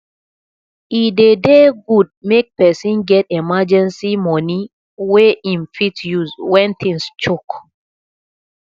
e de dey good make person get emergency money wey im fit use when things choke